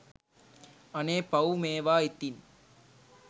අනේ පව් මේවා ඉතින්